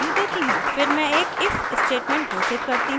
फिर मैं एक if statement घोषित करती हूँ